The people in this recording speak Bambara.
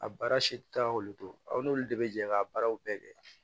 A baara si tɛ taa k'olu to aw n'olu de bɛ jɛ k'a baaraw bɛɛ kɛ